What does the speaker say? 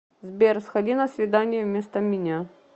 сбер сходи на свидание вместо меня